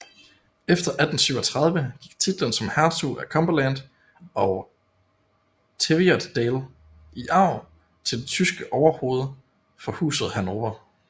Efter 1837 gik titlen som hertug af Cumberland og Teviotdale i arv til det tyske overhoved for Huset Hannover